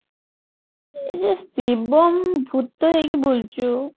ଏଇ ଯୋଉ ଶିବମ ଭୁତ ହେଇକି ବୁଲୁଚୁ